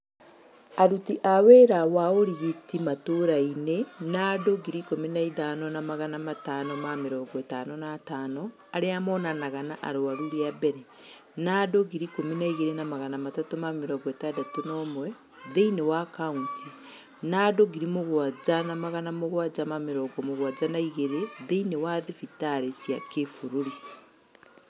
Aruti a wĩra wa ũrigiti matũra inĩ na andũ 13555 arĩa monanaga na arwaru riambere, na andũ 12361 thĩinĩ wa kauntĩ na 7772 thĩinĩ wa thibitarĩ cia kĩ-bũrũri